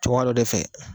Cɛkɔrɔba dɔ de fɛ